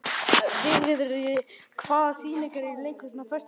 Vigri, hvaða sýningar eru í leikhúsinu á föstudaginn?